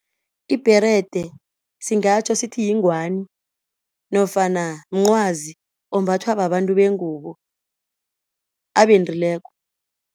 Ibherede singatjho sithi yingwani nofana mncwazi ombathwa babantu bengubo abendileko.